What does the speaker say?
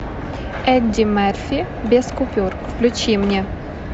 эдди мерфи без купюр включи мне